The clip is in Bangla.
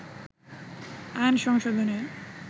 আইন সংশোধনে